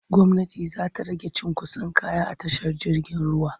Gwmnati za ta rage cunkoson kaya a tashar jirgin ruwa.